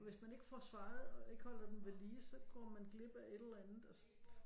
Hvis man ikke får svaret og ikke holder den ved lige så går man glip af et eller andet og så